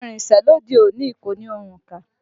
Ohùn ìrìnsẹ̀ lóde òní kò ní òǹkà